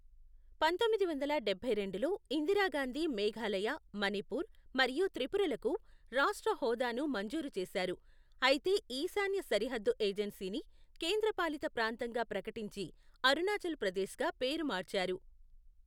పంతొమ్మిది వందల డబ్బై రెండులో, ఇందిరాగాంధీ మేఘాలయ, మణిపూర్ మరియు త్రిపురలకు రాష్ట్ర హోదాను మంజూరు చేశారు, అయితే ఈశాన్య సరిహద్దు ఏజెన్సీని కేంద్రపాలిత ప్రాంతంగా ప్రకటించి అరుణాచల్ ప్రదేశ్గా పేరు మార్చారు.